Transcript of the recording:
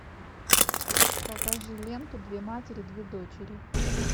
покажи ленту две матери две дочери